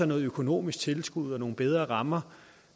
noget økonomisk tilskud og nogle bedre rammer